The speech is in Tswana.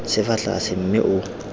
se fa tlase mme o